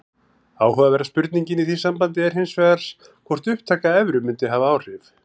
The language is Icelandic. Áhugaverða spurningin í því sambandi er hins vegar hvort upptaka evru mundi hafa áhrif.